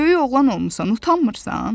Böyük oğlan olmusan, utanmırsan?